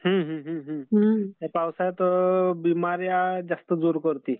पावसळ्यात बिमाऱ्या जास्त जोर करते.